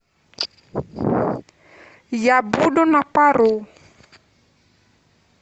я буду на пару